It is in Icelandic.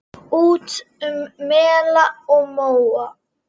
Út um mela og móa!